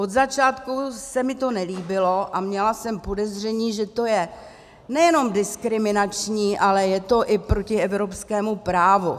Od začátku se mi to nelíbilo a měla jsem podezření, že to je nejenom diskriminační, ale je to i proti evropskému právu.